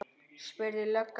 spurði löggan.